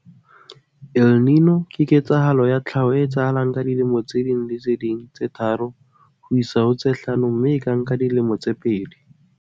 "El Niño ke ketsahalo ya tlhaho e etsahalang ka dilemo tse ding le tse ding tse tharo ho isa ho tse hlano mme e ka nka dilemo tse pedi."